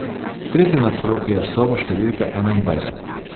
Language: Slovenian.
Tretje nadstropje, soba številka enaindvajset.